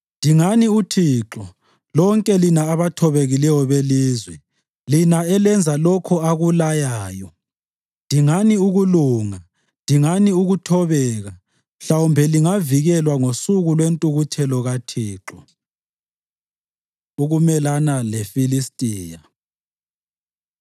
Dingani uThixo, lonke lina abathobekileyo belizwe, lina elenza lokho akulayayo. Dingani ukulunga, dingani ukuthobeka; mhlawumbe lingavikelwa ngosuku lwentukuthelo kaThixo. Ukumelana LeFilistiya